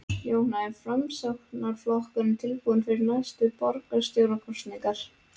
Jóhann: Er Framsóknarflokkurinn tilbúinn fyrir næstu borgarstjórnarkosningar?